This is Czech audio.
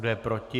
Kdo je proti?